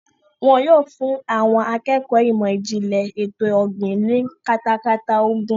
Wọ́n yóò fún àwọn akẹ́kọ̀ọ́ ìmọ̀ ìjìnlẹ̀ ètò ọ̀gbìn ní katakata ogún.